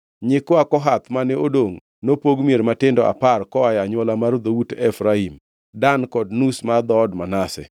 Nyikwa Kohath mane odongʼ nopog mier matindo apar koa e anywola mar dhout Efraim, Dan kod nus mar dhood Manase.